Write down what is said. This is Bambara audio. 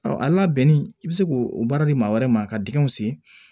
a labɛnni i bɛ se k'o baara di maa wɛrɛ ma ka dingɛw sen